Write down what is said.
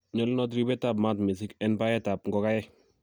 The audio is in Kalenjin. nyolunot ribetab maat missing en baetab ngokenik